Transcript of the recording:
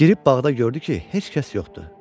Girib bağda gördü ki, heç kəs yoxdu.